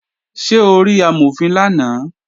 Ṣé o rí Amọ̀fin lánàá?